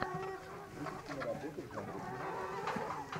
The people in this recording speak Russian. вруби киноработу в жанре криминал